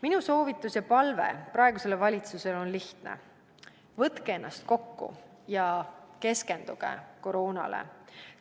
Minu soovitus ja palve praegusele valitsusele on lihtne: võtke ennast kokku ja keskenduge koroonale!